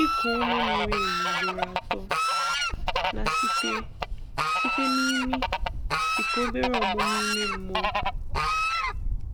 Iku ume miri emi ugboro atọ um site site n’imi dịka obere ọmụmụ ime mmụọ.